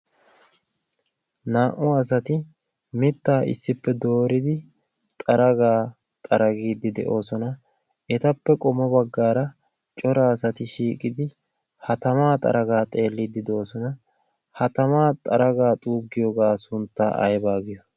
naa'u asati mittaa issippe dooridi xaragaa xaragiiddi de'oosona etappe qomo baggaara cora asati shiiqidi ha tamaa xaragaa xeelliiddi deyoosona. ha tamaa xaragaa xuuggiyoogaa sunttaa aybaa giyo?